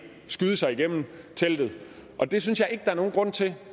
skyde sig igennem teltet og det synes jeg ikke er nogen grund til